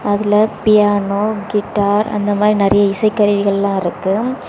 அதுல piano guitar அந்த மாதிரி நிறைய இசைக்கருவிகள் எல்லா இருக்கு.